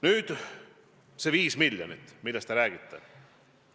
Nüüd, see 5 miljonit, millest te räägite.